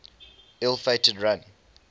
ill fated run